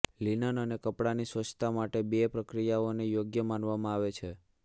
linen અને કપડાની સ્વચ્છતા માટે બે પ્રક્રિયાઓને યોગ્ય માનવામાં આવે છે